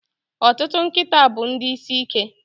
Ọtụtụ nkịta bụ ndị isi ike.